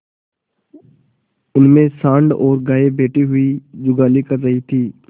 उनमें सॉँड़ और गायें बैठी हुई जुगाली कर रही थी